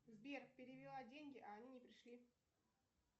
сбер перевела деньги а они не пришли